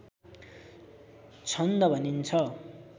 छन्द भनिन्छ